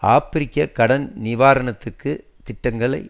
ஆப்பிரிக்க கடன் நிவாரணத்திற்க்கு திட்டங்களை